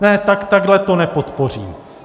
Ne, tak takhle to nepodpořím.